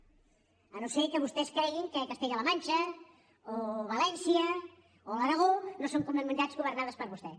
si no és que vostès creuen que castella la manxa o valència o l’aragó no són comunitats governades per vostè